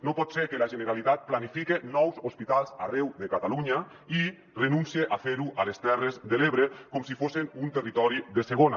no pot ser que la generalitat planifique nous hospitals arreu de catalunya i renuncie a fer·ho a les terres de l’ebre com si fossen un territori de segona